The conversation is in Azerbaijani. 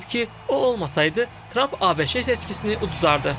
Deyib ki, o olmasaydı, Tramp ABŞ seçkisini uzardı.